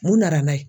Mun nana n'a ye